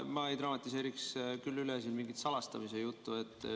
Ma ei dramatiseeriks üle siin mingit salastamise juttu.